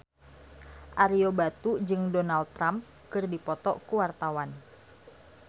Ario Batu jeung Donald Trump keur dipoto ku wartawan